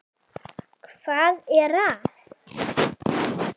. hvað er að.